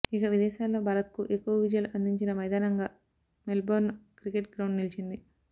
ఇక విదేశాల్లో భారత్కు ఎక్కువ విజయాలు అందించిన మైదానంగా మెల్బోర్న్ క్రికెట్ గ్రౌండ్ నిలిచింది